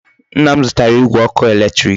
Nna m zutara Igwe oku eletiriki